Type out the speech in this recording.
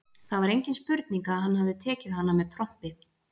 Það var engin spurning að hann hafði tekið hana með trompi.